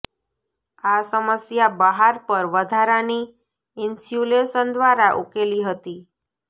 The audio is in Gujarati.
આ સમસ્યા બહાર પર વધારાની ઇન્સ્યુલેશન દ્વારા ઉકેલી હતી